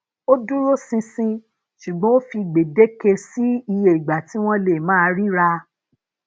ó dúróṣinṣin sugbon o fi gbedeke sí iye ìgbà tí wón lè máa rira